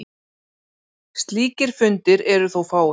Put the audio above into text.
Slíkir fundir eru þó fáir.